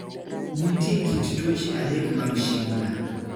Nitie kit tuoche adek mag Schindler.